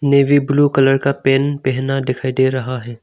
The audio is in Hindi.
नेवी ब्लू कलर का पैंट पहना दिखाई दे रहा है।